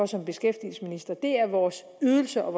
som beskæftigelsesminister er vores ydelser og